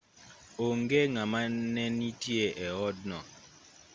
onge ng'ama ne nitie e odno